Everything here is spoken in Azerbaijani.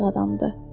Yazıq adamdır.